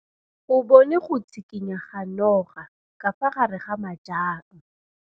O bone go tshikinya ga noga ka fa gare ga majang.